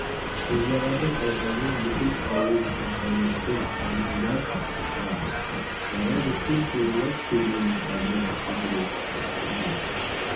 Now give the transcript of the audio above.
қозбағардың айқайынан бүкіл ауыл құлақтанып жұрт андыздап тысқа шықты бала біткен шуылдап керуеннің алдынан жүгірді үйінен